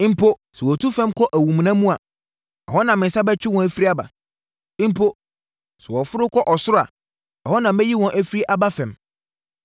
Mpo sɛ wɔtu fam kɔ awumena mu a ɛhɔ na me nsa bɛtwe wɔn afiri aba. Mpo sɛ wɔforo kɔ ɔsoro a ɛhɔ na mɛyi wɔn afiri aba fam.